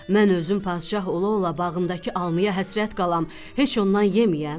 Mən özüm padşah ola-ola bağımdakı almaya həsrət qalam, heç ondan yeməyəm?